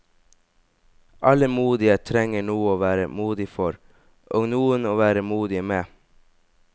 Alle modige trenger noe å være modig for, og noen å være modige med.